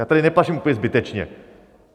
Já tady neplaším úplně zbytečně.